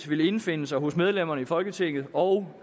vil indfinde sig hos medlemmerne i folketinget og